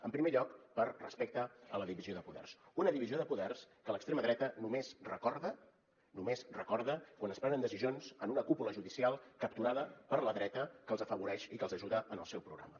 en primer lloc per respecte a la divisió de poders una divisió de poders que l’extrema dreta només recorda només recorda quan es prenen decisions en una cúpula judicial capturada per la dreta que els afavoreix i que els ajuda en el seu programa